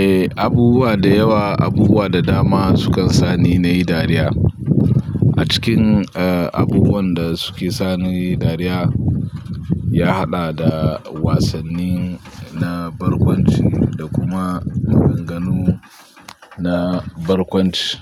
Eh, abubuwa da yawa, abubuwa da dama sukan sani nayi dariya. A cikin, eh, abubuwan da suke sani nayi dariya, ya haɗa da wasanni na barkwanci da kuma maganganu na barkwanci.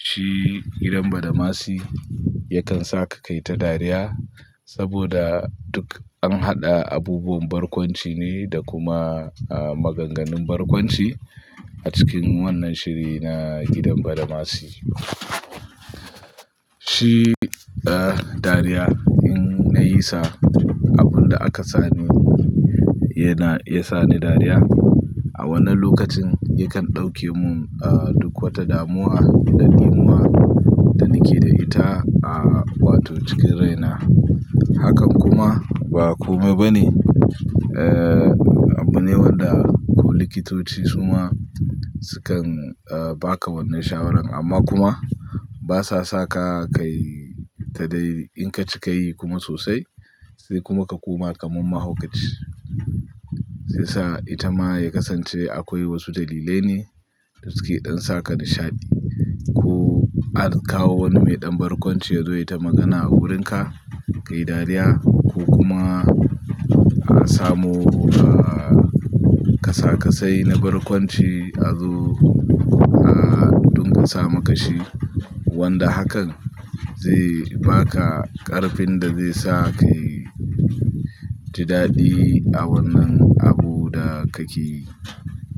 Shi "gidan Badamasi "yakan saka kayi ta dariya saboda duk an haɗa abubuwan barkwanci ne da kuma, eh, maganganun barkwanci a cikin wannan shiri na "gidan Badamasi. "Shi, eh, dariya in na yi sa abun da aka sani yana, ya sani dariya, a wani lokacin yakan ɗauke mun, eh, duk wata damuwa da ɗimuwa da nake da ita, eh, wato cikin raina. Hakan kuma ba kome bane. Eh, abu ne wanda duk likitoci su ma sukan, eh, baka wannan shawarar amma kuma basa saka kayi ta dai in ka cikayi kuma sosai sai kuma ka koma kaman mahaukaci. Zai sa ita ma ya kasance akwai wasu dalilai ne da suke ɗin saka nishaɗi. Ko an kawo wani mai ɗan barkwanci yazo ya yi ta magana a wurinka, kayi dariya ko kuma, eh, samo, eh, kasa kasai na barkwanci a zo, ah, duk ka sa ma kashi. Wanda hakan zai baka ƙarfin da zai sa kayi ta daɗi a wannan abu da kake yi.